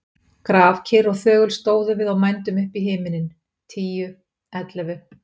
Grafkyrr og þögul stóðum við og mændum upp í himininn. tíu. ellefu.